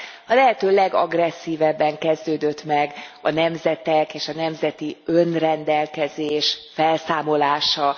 A lehető legagresszívebben kezdődött meg a nemzetek és a nemzeti önrendelkezés felszámolása.